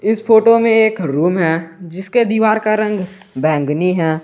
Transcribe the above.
इस फोटो में एक रूम है जिसके दीवार का रंग बैंगनी है।